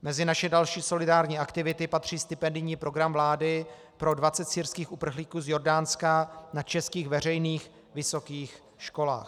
Mezi naše další solidární aktivity patří stipendijní program vlády pro 20 syrských uprchlíků z Jordánska na českých veřejných vysokých školách.